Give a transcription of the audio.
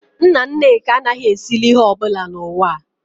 Nna nneka anaghị esili ihe ọ bụla n'ụwa a